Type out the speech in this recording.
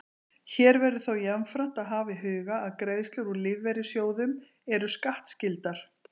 Hér verður þó jafnframt að hafa í huga að greiðslur úr lífeyrissjóðum eru skattskyldar.